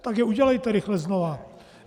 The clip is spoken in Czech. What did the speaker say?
Tak je udělejte rychle znova.